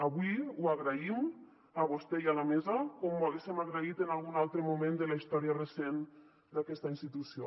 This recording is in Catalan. avui ho agraïm a vostè i a la mesa com ho hauríem agraït en algun altre moment de la història recent d’aquesta institució